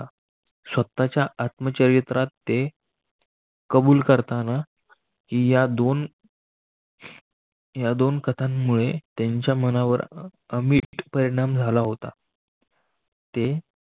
स्वतःच्याआत्मचरित्रात ते कबूल करताना या दोन या दोन कथांमुळे त्यांच्या मनावर अमिट परिणाम झाला होता.